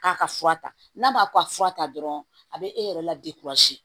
K'a ka fura ta n'a ma ko a fura ta dɔrɔn a bɛ e yɛrɛ la